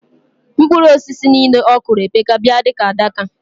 Mkpụru osisi nile okụro epeka bia dika adaka